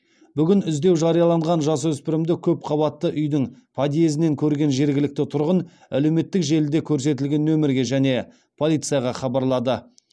бүгін іздеу жарияланған жасөспірімді көпқабатты үйдің подъездінен көрген жергілікті тұрғын әлеуметтік желіде көрсетілген нөмірге және полицияға хабарлады